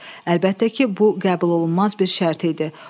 Əlbəttə ki, bu qəbul olunmaz bir şərt idi.